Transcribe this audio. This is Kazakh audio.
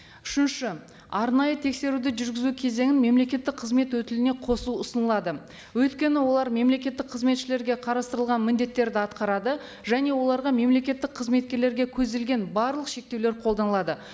үшінші арнайы тексеруді жүргізу кезеңін мемлекеттік қызмет өтіліне қосу ұсынылады өйткені олар мемлекеттік қызметшілерге қарастырылған міндеттерді атқарады және оларға мемлекеттік қызметкерлерге көзделген барлық шектеулер қолданылады